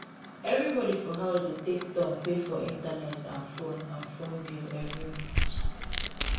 everybody for house dey take turn pay for internet and phone and phone bill every month